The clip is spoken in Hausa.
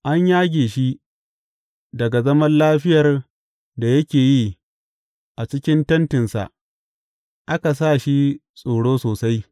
An yage shi daga zaman lafiyar da yake yi a cikin tentinsa aka sa shi tsoro sosai.